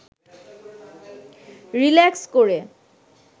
relax করে